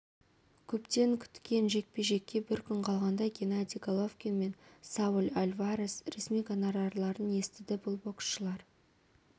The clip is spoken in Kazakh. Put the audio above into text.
көптен күткен жекпе-жекке бір күн қалғанда генадий головкин мен сауль альварес ресми гонорарларын естіді бұл боскшылар